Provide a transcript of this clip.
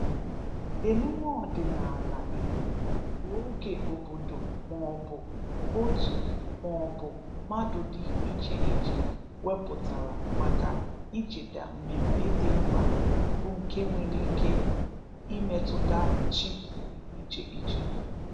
Emume ọdịnala Igbo bụ oge obodo maọbụ otu maọbụ mmadụ dị icheiche wepụtara maka icheta mmemme dị mkpa bụ nke nwere ike imetụta chi dị icheiche